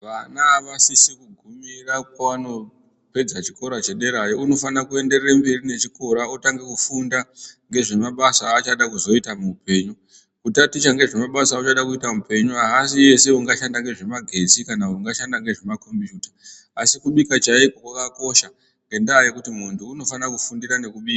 Vana avasisi kugumira pavanopedza chikora chederayo, unofanira kuenderera mberi nechikora otanga kufunda ngezvemabasa aachada kuzoita muupenyu kutaticha ngezvemabasa auchada kuita muupenyu aasi ese aungashanda ngezvemagetsi kana kuti aungashanda ngezvemakombiyuta asi kubika chaiko kwakakosha ngendaa yekuti muntu unofana kufundira nekubika.